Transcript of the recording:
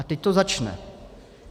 A teď to začne.